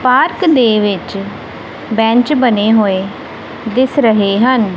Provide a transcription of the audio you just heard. Park ਦੇ ਵਿੱਚ bench ਬਣੇ ਹੋਏ ਦਿਸ ਰਹੇ ਹਨ।